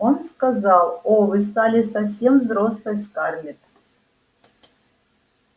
он сказал о вы стали совсем взрослой скарлетт